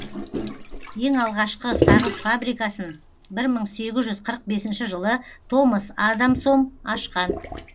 ең алғашқы сағыз фабрикасын бір мың сегіз жүз қырық бесінші жылы томас адамсом ашқан